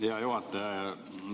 Hea juhataja!